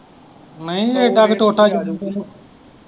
ਨਹੀਂ ਏਡਾ ਕ ਟੋਟਾ ਤੈਨੂੰ।